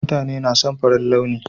Mutane na son farin launi.